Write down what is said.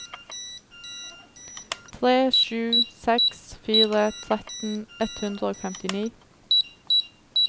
tre sju seks fire tretten ett hundre og femtini